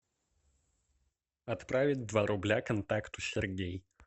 отправить два рубля контакту сергей